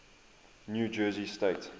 new jersey state